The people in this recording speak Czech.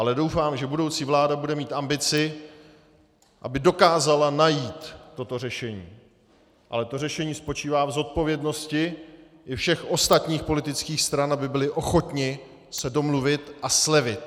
Ale doufám, že budoucí vláda bude mít ambici, aby dokázala najít toto řešení, ale to řešení spočívá v zodpovědnosti i všech ostatních politických stran, aby byly ochotny se domluvit a slevit.